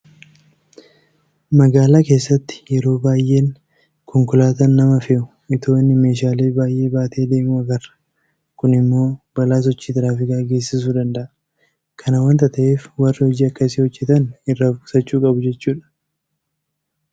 Magaalaa keessatti yeroo baay'een konkolaataan nama fe'u itoo inni meeshaalee baay'ee baatee adeemuu agarra. Kun immoo balaa sochii tiraafikaa geessisuu danda'a. Kana waanta ta'eef warri hojii akkasii hojjetan irraa of-qusachuu qabu jechuudha.